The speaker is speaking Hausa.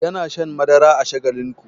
Yana shan madara a shagalinku.